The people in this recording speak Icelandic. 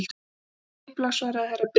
Við þurfum skipulag, svaraði Herra Brian.